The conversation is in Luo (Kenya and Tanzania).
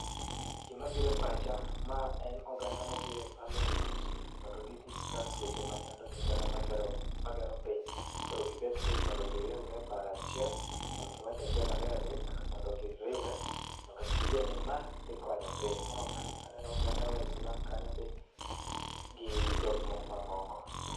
Gima bire pacha, ma en oganda mobire Parliament, mondo gi discuss weche machando piny kata ma gero piny. Koro gibet piny mondo giriwre e paro achiel mondo giwach achiel ariyo adek. Mondo giriwre mondo giyie ni ma dhi konyo piny. Ma oganda aneno oganda Waislam kanyo be gi jok moko mamoko.